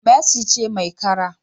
Mercy ce mai kara